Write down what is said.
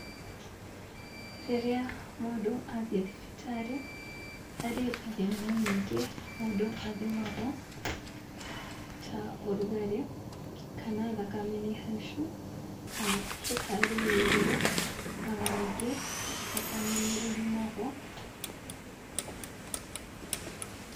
Rĩrĩa mũndũ athiĩ thibitarĩ, harĩ ithimi nyingĩ mũndũ athimagwo, ta ũrugarĩ, kana thakame nĩ haicu, kana cukari wĩ igũrũ, ona ningĩ thakame ni ĩthimagwo.